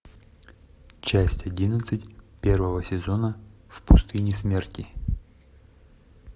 часть одиннадцать первого сезона в пустыне смерти